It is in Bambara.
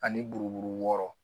Ani buruburu wɔɔrɔ